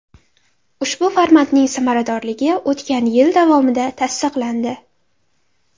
Ushbu formatning samaradorligi o‘tgan yil davomida tasdiqlandi.